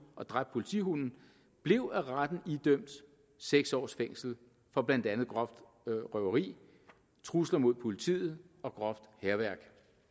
og dræbt politihunden blev af retten idømt seks års fængsel for blandt andet groft røveri trusler mod politiet og groft hærværk